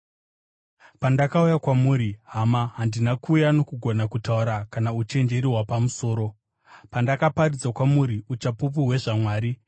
Pandakauya kwamuri, hama, handina kuuya nokugona kutaura kana uchenjeri hwapamusoro, pandakaparidza kwamuri uchapupu hwezvaMwari.